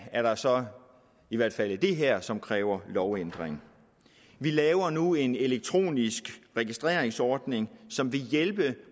er der så i hvert fald det her som kræver en lovændring vi laver nu en elektronisk registreringsordning som vil hjælpe de